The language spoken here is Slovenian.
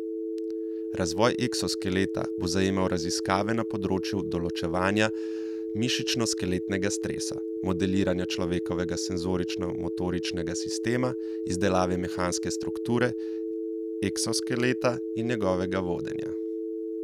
Razvoj eksoskeleta bo zajemal raziskave na področju določevanja mišičnoskeletnega stresa, modeliranja človekovega senzorično motoričnega sistema, izdelave mehanske strukture eksoskeleta in njegovega vodenja.